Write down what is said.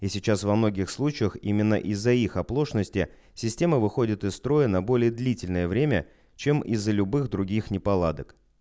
и сейчас во многих случаях именно из-за их оплошности система выходит из строя на более длительное время чем из-за любых других неполадок